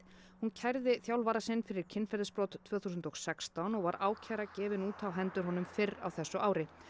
hún kærði þjálfara sinn fyrir kynferðisbrot tvö þúsund og sextán og var ákæra gefin út á hendur honum fyrr á þessu ári